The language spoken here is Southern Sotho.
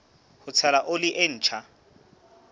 ho tshela oli e ntjha